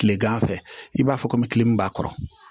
Kilegan fɛ i b'a fɔ komi tile min b'a kɔrɔ